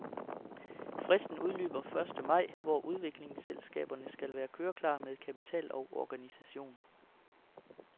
Fristen udløber første maj, hvor udviklingsselskaberne skal være køreklar med kapital og organisation.